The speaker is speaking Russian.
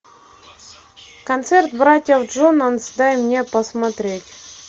концерт братьев джонанс дай мне посмотреть